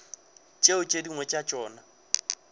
tšeo tše dingwe tša tšona